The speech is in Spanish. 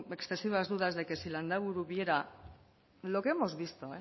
excesivas dudas de que si landaburu viera lo que hemos visto